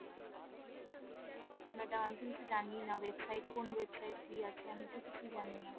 madam আমি তো কিছুই জানিনা website কোন website কি আছে আমিতো কিছুই জানি না